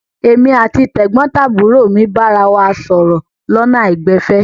Èmi àti tẹ̀gbọ́ntàbúrò mi bára wa sọ̀rọ̀ lọ́nà àìgbẹ̀fẹ̀.